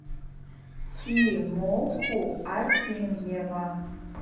тимоху артемьева